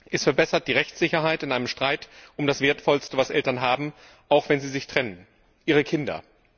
Es verbessert die Rechtssicherheit in einem Streit um das Wertvollste, was Eltern haben, auch wenn sie sich trennen ihre Kinder.